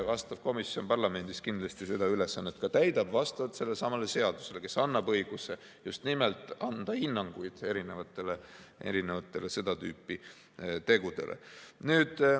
Vastav komisjon parlamendis kindlasti seda ülesannet täidab vastavalt sellelesamale seadusele, mis annab õiguse just nimelt anda hinnanguid seda tüüpi tegudele.